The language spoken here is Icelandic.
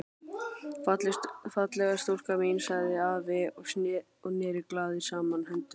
Fallega stúlkan mín sagði afi og neri glaður saman höndunum.